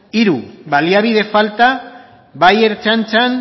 hiru baliabide falta bai ertzaintzan